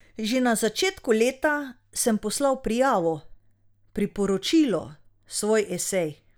Že na začetku leta sem poslal prijavo, priporočilo, svoj esej.